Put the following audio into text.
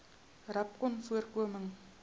rapcanvoorkoming